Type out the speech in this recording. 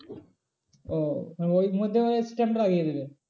ও মানে ওই মধ্যে ওই stamp টা লাগিয়ে দেবে।